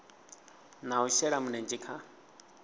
na u shela mulenzhe kha